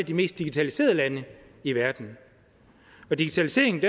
de mest digitaliserede lande i verden digitaliseringen